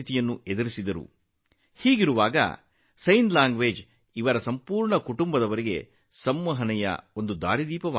ಅಂತಹ ಪರಿಸ್ಥಿತಿಯಲ್ಲಿ ಸಂಜ್ಞೆ ಭಾಷೆ ಇಡೀ ಕುಟುಂಬಕ್ಕೆ ಸಂವಹನ ಸಾಧನವಾಗಿದೆ